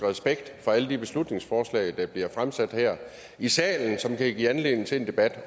respekt for alle de beslutningsforslag der bliver fremsat her i salen og som kan give anledning til en debat